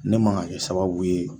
Ne man ka kɛ sababu ye